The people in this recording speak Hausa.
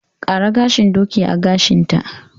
Ƙara gashin doki a gashinta!